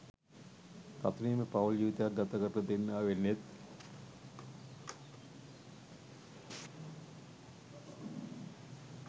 සතුටින්ම පවුල් ජීවිතයක් ගත කරන දෙන්නා වෙන්නෙත්.